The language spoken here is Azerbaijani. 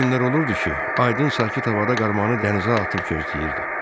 Elə günlər olurdu ki, aydın sakit havada qarmağını dənizə atıb gözləyirdi.